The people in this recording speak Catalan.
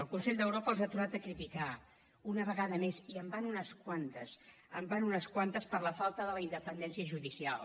el consell d’europa els ha tornat a criticar una vegada més i en van unes quantes en van unes quantes per la falta d’independència judicial